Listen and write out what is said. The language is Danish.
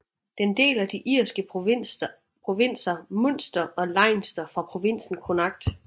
Den deler de irske provinser Munster og Leinster fra provinsen Connacht